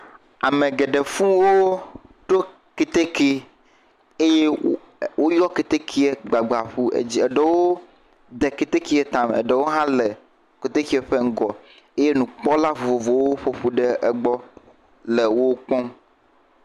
Ame geɖe fũu woɖo keteke eye wo…ee..u…woyɔ keteke gbagba ƒu..e..dz..eɖewo de ketekea tame eye eɖewo hã le ketekea ƒe ŋgƒ eye nukpɔla vovovowo ƒoƒu ɖe egbɔ le wo kpɔm.